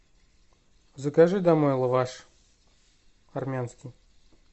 закажи домой лаваш армянский